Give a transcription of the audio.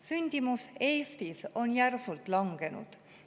Sündimus Eestis on järsult langenud.